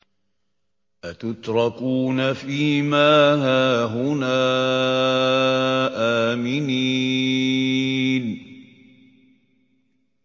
أَتُتْرَكُونَ فِي مَا هَاهُنَا آمِنِينَ